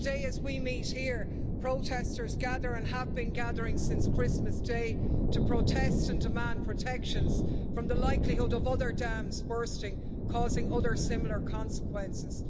Today, as we meet here, protesters gather, and have been gathering since Christmas Day, to protest and demand protections from the likelihood of other dams bursting, causing other similar consequences.